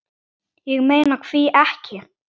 Ég meina hví ekki?